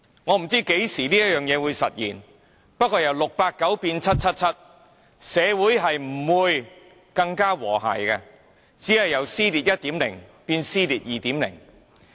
我不知這事何時會實現，但由 "689" 變成 "777"， 社會不會更和諧，只會由"撕裂 1.0" 變為"撕裂 2.0"。